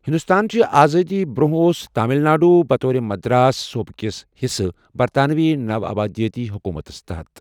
ہِندوستان چہِ آزٲدی برٛونٛہہ اوس تامِل ناڈو بطور مدراس صوٗبہٕ کِس حِصہٕ برطانوی نوآبادِیٲتی حُکوٗمتس تحت۔